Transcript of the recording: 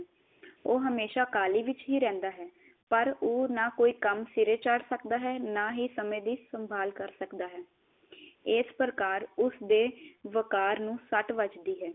ਉਹ ਹਮੇਸ਼ਾ ਕਾਹਲੀ ਵਿਚ ਹੀ ਰਹਿੰਦਾ ਹੈ, ਪਰ ਉਹ ਨਾ ਕੋਈ ਕੰਮ ਸਿਰੇ ਚਾੜ ਸਕਦਾ ਹੈ ਨਾ ਹੀ ਸਮੇ ਦੀ ਸੰਭਾਲ ਕਰ ਸਕਦਾ ਹੈ ਸੀ ਪ੍ਰਕਾਰ ਉਸ ਦੇ ਵਕਾਰ ਨੂੰ ਸੱਟ ਵਜਦੀ ਹੈ